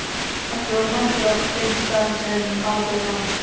Allir voru mættir á þeim stað sem ákveðið var.